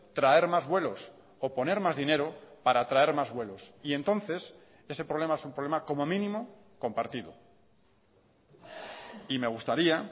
traer más vuelos o poner más dinero para traer más vuelos y entonces ese problema es un problema como mínimo compartido y me gustaría